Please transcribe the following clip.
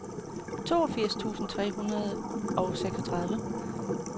toogfirs tusind tre hundrede og seksogtredive